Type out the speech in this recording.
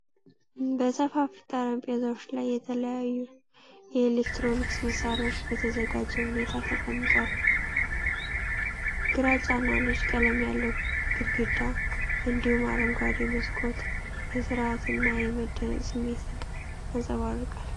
በሰፋፊ ጠረጴዛዎች ላይ የተለያዩ የኤሌክትሮኒክስ መሣሪያዎች በተዘጋጀ ሁኔታ ተቀምጠዋል። ግራጫ እና ነጭ ቀለም ያለው ግድግዳ፣ እንዲሁም አረንጓዴ መስኮት የሥርዓትና የመደነቅ ስሜትን ያንፀባርቃል።